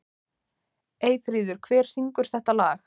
Eyfríður, hver syngur þetta lag?